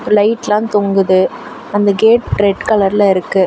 லைட்லா தொங்குது அந்த gate red கலர்ல இருக்கு.